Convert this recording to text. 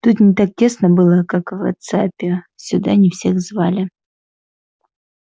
тут не так тесно было как в вотсаппе сюда не всех звали